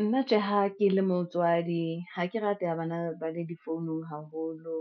Nna tjhe, ha ke le motswadi, ha ke rate ya bana ba le difounung haholo,